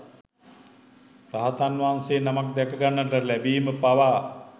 රහතන් වහන්සේ නමක් දැක ගන්නට ලැබීම පවා